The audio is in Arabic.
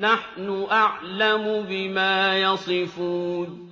نَحْنُ أَعْلَمُ بِمَا يَصِفُونَ